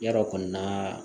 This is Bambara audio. Ya dɔ kɔni na